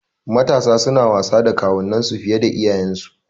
Matasa suna wasa da kawunan su fiye da iyayensu